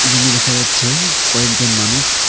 রুমে দেখা যাচ্ছে কয়েকজন মানুষ।